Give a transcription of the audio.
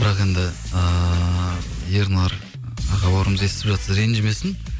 бірақ енді ыыы ернар аға бауырымыз естіп жатса ренжімесін